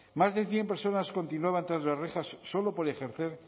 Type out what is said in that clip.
más de cien personas continuaban tras las rejas solo por ejercer